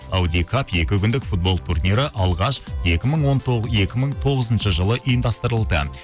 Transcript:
аудикап екі күндік футбол турнирі алғаш екі мың тоғызыншы жылы ұйымдастырылды